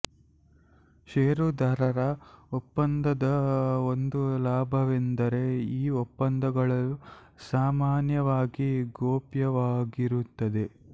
ಷೇರುದಾರರ ಒಪ್ಪಂದದ ಒಂದು ಲಾಭವೆಂದರೆ ಈ ಒಪ್ಪಂದಗಳು ಸಾಮಾನ್ಯವಾಗಿ ಗೋಪ್ಯವಾಗಿರುತ್ತದೆ